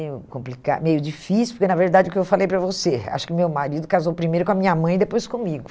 meio complica, meio difícil, porque, na verdade, o que eu falei para você, acho que meu marido casou primeiro com a minha mãe e depois comigo.